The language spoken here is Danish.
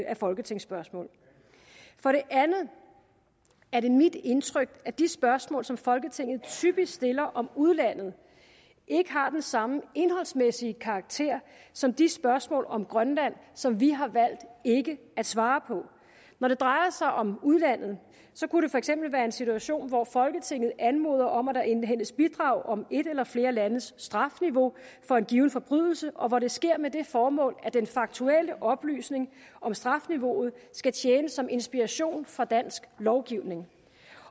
af folketingsspørgsmål for det andet er det mit indtryk at de spørgsmål som folketinget typisk stiller om udlandet ikke har den samme indholdsmæssige karakter som de spørgsmål om grønland som vi har valgt ikke at svare på når det drejer sig om udlandet kunne det for eksempel være en situation hvor folketinget anmoder om at der indhentes bidrag om et eller flere landes strafniveau for en given forbrydelse og hvor det sker med det formål at den faktuelle oplysning om strafniveauet skal tjene som inspiration for dansk lovgivning